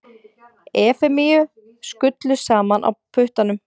Efemíu skullu saman á puttanum.